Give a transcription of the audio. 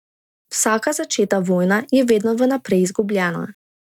Vsaka začeta vojna je vedno v naprej izgubljena.